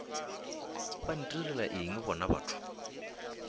ba ntirela eng bona batho